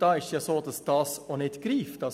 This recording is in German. Dort greift das auch nicht.